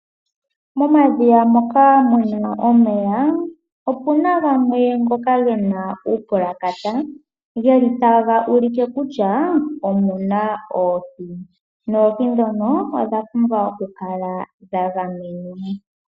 Momadhiya moka mu na omeya opu na gamwe ngoka ge na uupulakata geli taga ulike kutya omu na oohi noohi dhono odhi na okukala dha gamenwa.